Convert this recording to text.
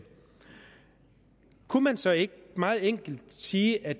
kunne man så ikke meget enkelt sige at